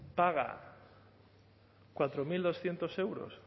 paga cuatro mil doscientos euros